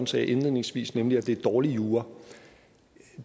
sagde indledningsvis nemlig at det er dårlig jura